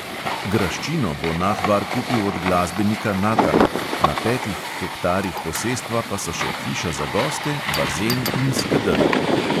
Graščino bo nahbar kupil od glasbenika natana, na petih hektarih posestva pa so še hiša za goste, bazen in skedenj.